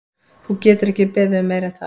Þú getur ekki beðið um meira en það.